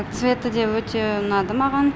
цветі де өте ұнады маған